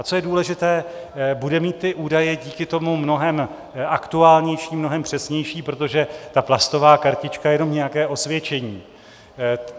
A co je důležité - bude mít ty údaje díky tomu mnohem aktuálnější, mnohem přesnější, protože ta plastová kartička je jenom nějaké osvědčení.